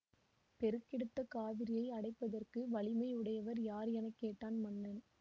பெருக்கெடுத்த காவிரியை அடைப்பதற்கு வலிமை உடையவர் யார் என கேட்டான் மன்னன்